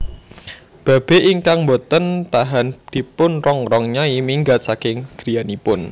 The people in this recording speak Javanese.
Babe ingkang mbote tahan dipunrongrong Nyai minggat saking griyanipun